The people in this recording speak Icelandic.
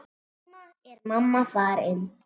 Núna er mamma farin.